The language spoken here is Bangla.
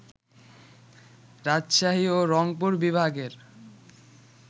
রাজশাহী ও রংপুর বিভাগের